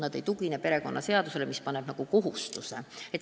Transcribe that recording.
Nad ei tugine perekonnaseadusele, mis lihtsalt paneb sellise kohustuse.